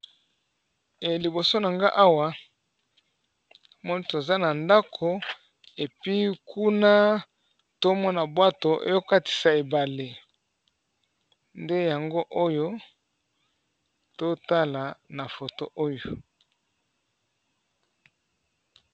Liboso nangai Awa toza na ndako kuna tozomona bwato ezo KO katisa na ebale nde yango oyo nazomona na photo oyo.